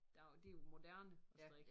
Der det jo moderne at strikke